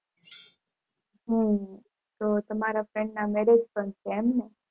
હમ તો તમારા friend ના Marriage પણ છે